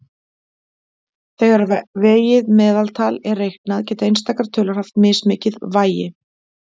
Þegar vegið meðaltal er reiknað geta einstakar tölur haft mismikið vægi.